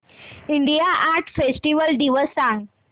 India art festival दिवस सांग